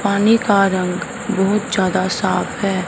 पानी का रंग बहुत ज्यादा साफ है।